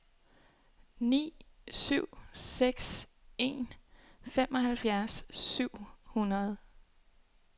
ni syv seks en femoghalvfjerds syv hundrede